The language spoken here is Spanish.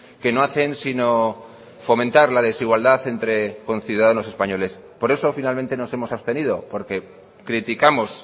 que no hacen sino fomentar la desigualdad entre conciudadanos españoles por eso finalmente nos hemos abstenido porque criticamos